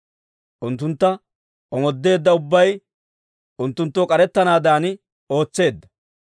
Unttuntta omoodeedda ubbay unttunttoo k'arettanaadan ootseedda.